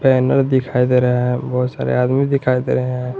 Banner दिखाई दे रहा है बहुत सारे आदमी दिखाई दे रहे हैं।